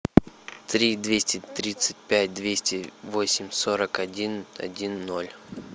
три двести тридцать пять двести восемь сорок один один ноль